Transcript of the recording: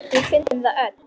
Við fundum það öll.